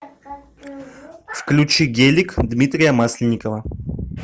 включи гелик дмитрия масленникова